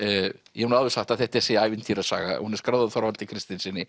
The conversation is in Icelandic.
ég hef nú áður sagt að þetta sé ævintýrasaga hún er skráð af Þorvaldi Kristinssyni